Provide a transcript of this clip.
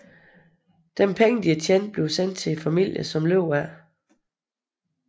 De tjente penge sendes til familierne som lever af det